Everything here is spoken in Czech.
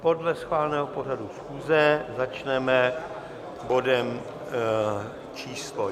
Podle schváleného pořadu schůze začneme bodem číslo